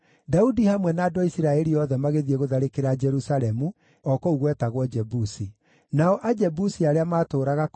Daudi hamwe na andũ a Isiraeli othe magĩthiĩ gũtharĩkĩra Jerusalemu, o kũu gwetagwo Jebusi. Nao Ajebusi arĩa maatũũraga kũu